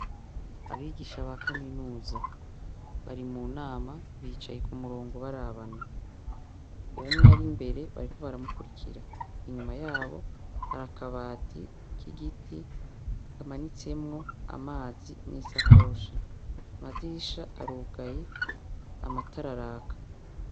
Abigisha ba Kaminuza bari mu nama bicaye ku murongo barabana. Umwe ari imbere bariko baramukurikira. Inyuma yabo hari akabati k'igiti kamanitsemwo amazi n'isakoshi. Amadirisha arugaye. Amatara araka.